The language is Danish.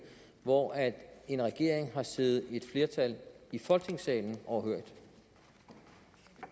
hvor en regering har siddet et flertal i folketingssalen overhørig